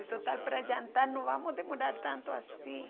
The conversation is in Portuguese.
Se tu tá para jantar, não vamos demorar tanto assim.